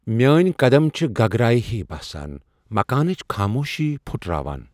میٲنۍ قدم چھِ گگرایہ ہی باسان ، مكانٕچ خاموشی پُھٹراوان ۔